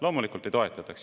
Loomulikult ei toetataks.